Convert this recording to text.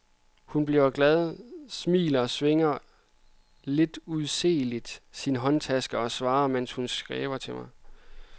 Hun bliver glad, smiler, svinger lidt undseeligt sin håndtaske, og svarer, mens hun skæver til mig.